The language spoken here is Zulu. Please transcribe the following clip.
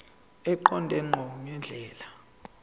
eqonde ngqo ngendlela